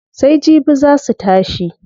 Sai jibi zaa su tashi.